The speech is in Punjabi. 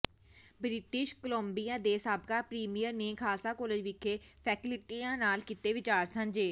ਬ੍ਰਿਟਿਸ਼ ਕੋਲੰਬੀਆ ਦੇ ਸਾਬਕਾ ਪ੍ਰੀਮੀਅਰ ਨੇ ਖਾਲਸਾ ਕਾਲਜ ਵਿਖੇ ਫੈਕਲਟੀਆਂ ਨਾਲ ਕੀਤੇ ਵਿਚਾਰ ਸਾਂਝੇ